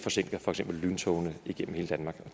forsinker lyntogene igennem hele danmark